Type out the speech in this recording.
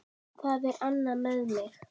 Það er annað með mig.